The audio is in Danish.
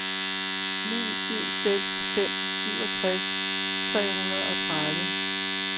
ni syv seks fem syvogtres tre hundrede og tredive